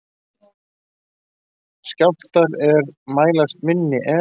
Skjálftar er mælast minni en